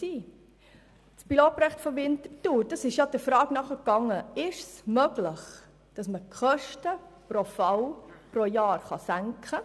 Das Pilotprojekt von Winterthur ging bekanntlich der Frage nach, ob und wie es möglich ist, die Kosten pro Fall und Jahr zu senken.